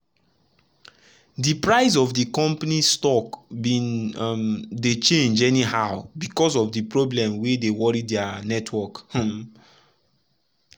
di price of di company's stock bin um dey change anyhow because of di problem wey dey worry dia network. um